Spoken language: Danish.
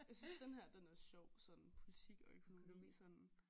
Jeg synes den her den er sjov sådan politik og økonomi sådan